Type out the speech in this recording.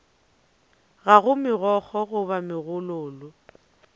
ga go megokgo goba megololo